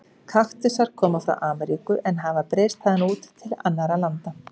Kaktusar koma frá Ameríku en hafa breiðst þaðan út til annarra landa.